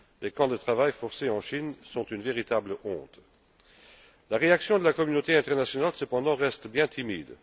Les camps de travail forcé en Chine sont une véritable honte. La réaction de la communauté internationale, cependant, reste bien timide.